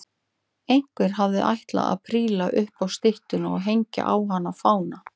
Einhver hafði ætlað að príla upp á styttuna og hengja á hana fána.